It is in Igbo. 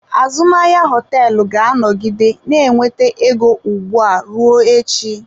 Azụmahịa hoteelu ga-anọgide na-enweta ego ugbu a ruo echi.